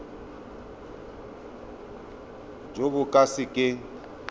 jo bo ka se keng